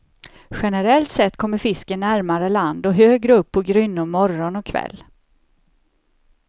Generellt sett kommer fisken närmare land och högre upp på grynnor morgon och kväll.